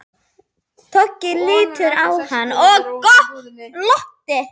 Toggi litu á hann og glottu.